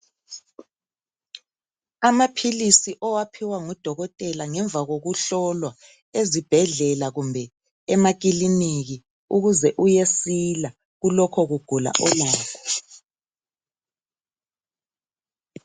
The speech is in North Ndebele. Amaphilisi owaphiwa ngudokotela ngemva kokuhlolwa ezibhedlela kumbe emakiliniki ukuze uyesila kulokho kugula olakho.